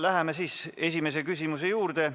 Läheme siis esimese küsimuse juurde.